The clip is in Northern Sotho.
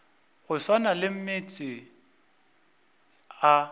go swana le meetse a